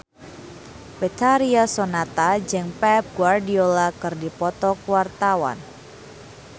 Betharia Sonata jeung Pep Guardiola keur dipoto ku wartawan